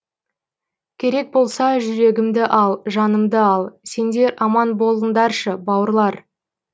керек болса жүрегімді ал жанымды ал сендер аман болыңдаршы бауырлар